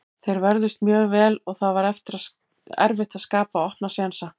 Þeir vörðust mjög vel og það var erfitt að skapa opna sénsa.